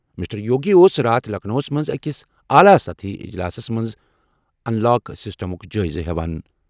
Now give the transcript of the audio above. Mister Yogi اوس راتھ لکھنؤَس منٛز أکِس اعلیٰ سطحی اجلاسَس منٛز انلاک سسٹمُک جٲیزٕ نِوان۔